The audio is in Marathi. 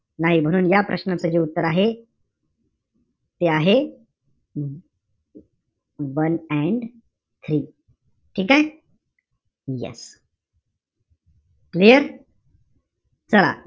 नाही म्हणून या प्रश्नाचं जे उत्तर आहे, ते आहे one and three ठीके? yes clear? चला.